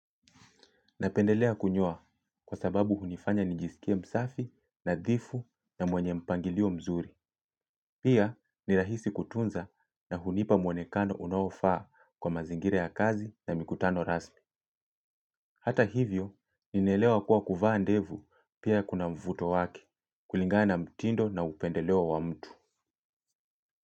Napendelea kunyoa kwa sababu hunifanya nijisikie msafi nadhifu na mwenye mpangilio mzuri. Pia ni rahisi kutunza na hunipa mwonekano unaofaa kwa mazingira ya kazi na mikutano rasmi. Hata hivyo, ninaelewa kuwa kuvaa ndevu pia kuna mvuto wake kulingana na mtindo na upendeleo wa mtu.